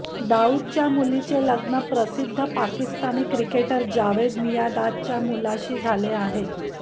दाऊदच्या मुलीचे लग्न प्रसिद्ध पाकिस्तानी क्रिकेटर जावेद मियादादच्या मुलाशी झाले आहे